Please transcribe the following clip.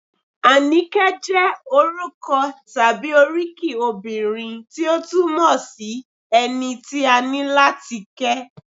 Àníkẹ́ jẹ́ orúkọ tàbí oríkì obìnrin tí ó túmọ̀ sí - ẹni tí a ní láti kẹ́